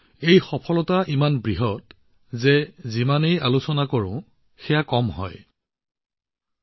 এই সফলতা ইমানেই বেছি যে ইয়াৰ যিমানেই আলোচনা নকৰক কিয় সিমানেই কম হব